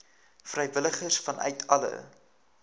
vrywilligers vanuit alle